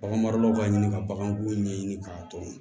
Bagan maralaw b'a ɲini ka baganko ɲɛɲini k'a dɔn